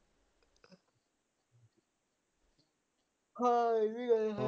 ਹਾ ਇਹ ਵੀ ਗੱਲ ਹੈ